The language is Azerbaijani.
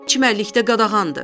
Çimərlikdə qadağandır.